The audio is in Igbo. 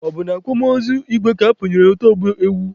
Ọ bụ na akwamozu igwe ka akpụnyere otu ọgbọ ewu.